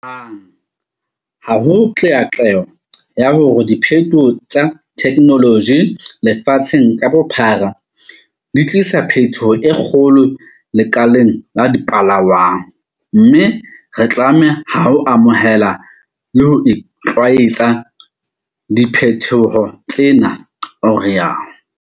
Hang ha ho qeaqeo ya hore diphethoho tsa thekenoloji lefatsheng ka bophara di tlisa phethoho e kgolo lekaleng la dipalangwang, mme re tlame ha ho amohela le ho itlwaetsa diphethoho tsena, o rialo.